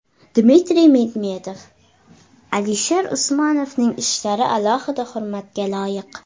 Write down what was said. Dmitriy Medvedev: Alisher Usmonovning ishlari alohida hurmatga loyiq.